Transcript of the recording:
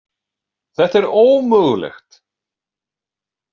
Þetta er ómögulegt.